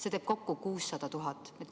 See teeb kokku 600 000.